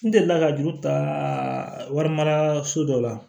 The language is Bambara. N delila ka juru ta warimaraso dɔ la